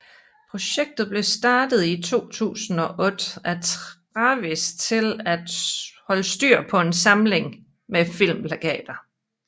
Projektet blev starter i 2008 af Travis til at holde styr på en samling med filmplakater